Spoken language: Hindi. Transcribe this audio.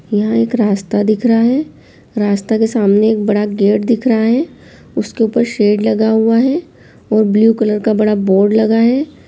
यह एक रास्ता दिख रहा है रास्ता के सामने एक बड़ा गेट दिख रहा है उसके ऊपर शेड लगा हुआ है और ब्लू कलर का बड़ा बोर्ड लगा है।